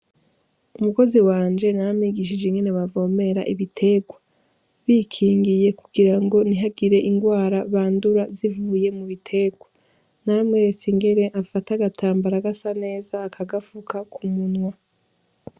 Umukozi wanje naramwigishije ingene bavomera ibiterwa bikingiye kugira ngo ntihagire ingwara bandura zivuye mu biterwa naramweretse ingere afata agatambara agasa neza aka gafuka ku munwa.